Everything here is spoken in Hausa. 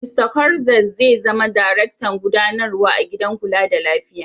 Mista Cortez zai zama darektan gudanarwa a gidan kula da lafiya.